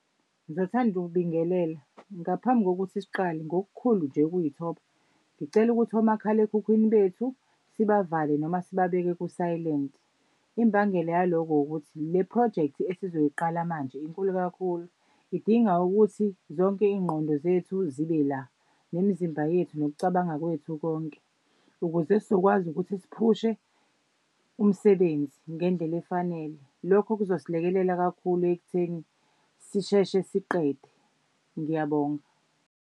Ngizothanda ukubingelela, ngaphambi kokuthi siqale ngokukhulu nje ukuyithoba ngicela ukuthi omakhalekhukhwini bethu sibavale noma sibabheke ku-silent. Imbangela yalokho ukuthi le phrojekthi esizoyiqala manje inkulu kakhulu. Idinga ukuthi zonke iy'ngqondo zethu zibe la, nemizimba yethu nokucabanga kwethu konke. Ukuze sizokwazi ukuthi siphushe umsebenzi ngendlela efanele. Lokho kuzosilekelela kakhulu ekutheni sisheshe siqede. Ngiyabonga.